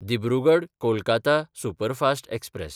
Dibrugarh-Kolkata superfast express